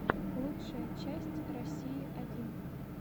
лучшая часть россии один